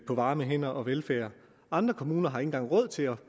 varme hænder og velfærd andre kommuner har ikke engang råd til at